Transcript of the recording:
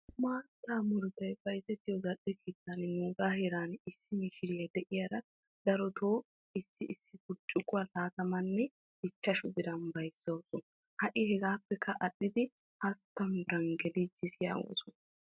Maattaa murutay bayzettiyoo zal"e keettan nuugaa heeran issi mishiriyaa de'iyaara darotoo issi issi burccukuwaa lattamanne ichchashi biran bayzzawus. ha'i hegaapekka adhdhidi hasttamu biran geliis yaagosona.